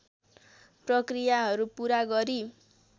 प्रक्रियाहरू पूरा गरी